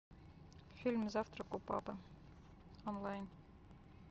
фильм завтрак у папы онлайн